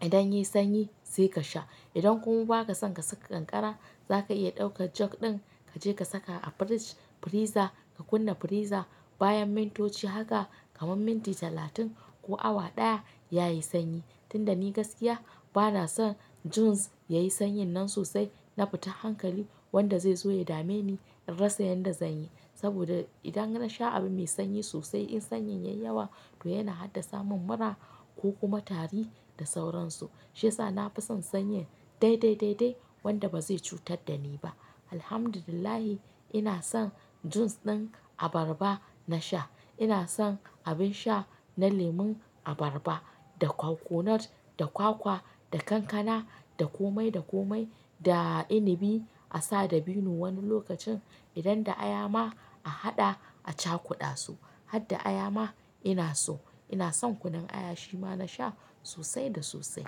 Idan yayi sanyi sai kashe. Idan kuma ba ka son ka saka kankara za ka iya ɗauka jug ɗin ka je ka saka a fridge freezer ka kunna freezer. Bayan mintoci haka kaman minti talatin ko awa ɗaya yayi sanyi. Tunda ni gaskiya bana son juice yayi sanyin nan sosai na fitan hankali wanda zai zo ya dame ni in rasa yanda zanyi. Saboda idan na sha abu mai sanyi sosai in sanyin yayi yawa to yana haddasa mun mura ko kuma tari da sauransu. Shi yasa na fi son sanyi dai dai dai dai wanda ba zai cutar da ni ba. Alhamdulillah ina son juice ɗin abarba na sha. Ina son abin sha na lemon abarba da coconut, da kwakwa, da kankana, da komai da komai. Da inabi a sa da vino wani lokacin idan da aya ma a haɗa a cakuɗa su. Hadda aya ma ina so. Ina son kunun aya shi ma na sha sosai da sosai.